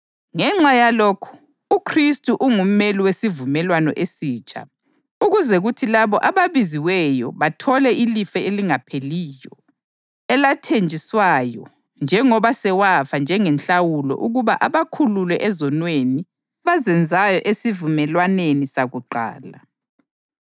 Ngenxa yalokhu uKhristu ungumeli wesivumelwano esitsha ukuze kuthi labo ababiziweyo bathole ilifa elingapheliyo elathenjiswayo njengoba sewafa njengenhlawulo ukuba abakhulule ezonweni abazenzayo esivumelwaneni sakuqala.